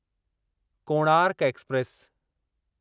Konark express